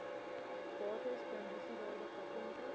bates klandisiewaarde patente